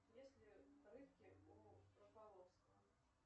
есть ли рыбки у рыбаловского